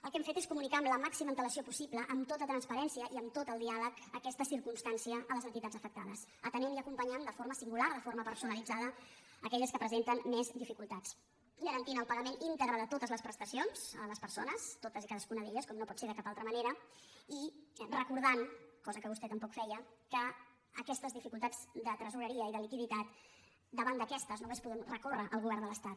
el que hem fet és comunicar amb la màxima antelació possible amb to·ta transparència i amb tot el diàleg aquesta circums·tància a les entitats afectades atenent i acompanyant de forma singular de forma personalitzada aque·lles que presenten més dificultats garantint el paga·ment íntegre de totes les prestacions a les persones totes i cadascuna d’elles com no pot ser de cap altra manera i recordant cosa que vostè tampoc feia que aquestes dificultats de tresoreria i de liquiditat davant d’aquestes només podem recórrer al govern de l’es·tat